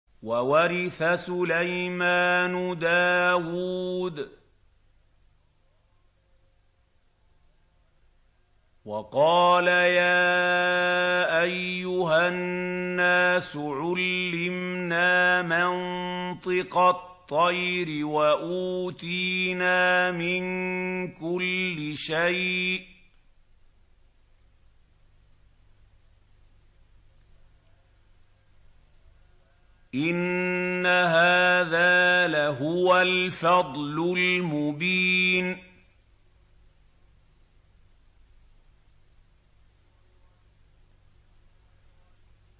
وَوَرِثَ سُلَيْمَانُ دَاوُودَ ۖ وَقَالَ يَا أَيُّهَا النَّاسُ عُلِّمْنَا مَنطِقَ الطَّيْرِ وَأُوتِينَا مِن كُلِّ شَيْءٍ ۖ إِنَّ هَٰذَا لَهُوَ الْفَضْلُ الْمُبِينُ